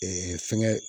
fɛngɛ